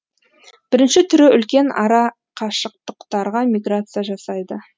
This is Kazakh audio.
бірінші түрі үлкен арақашыктарға миграция жасайды